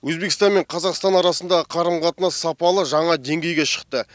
өзбекстан мен қазақстан арасындағы қарым қатынас сапалы жаңа деңгейге шықты